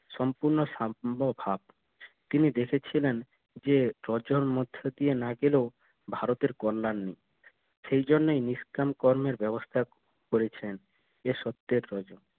সম্পূর্ণ সাম্মভাব তিনি দেখেছিলেন যে প্রজর মধ্যে দিয়ে না গেলেও ভারতের কল্যাণ নেই সেই জন্যেই নিষ্কাম কর্মের ব্যবস্থা করেছেন এর সত্যের রজ